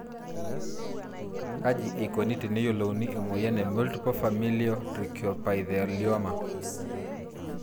Kaji eikoni teneyiolouni emoyian e multiple familial trichoepithelioma?